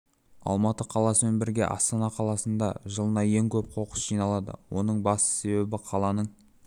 алматы қаласымен бірге астана қаласында да жылына ең көп қоқыс жиналады оның басты себебі қаланың